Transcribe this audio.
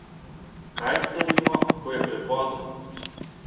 Kaj storimo, ko je prepozno?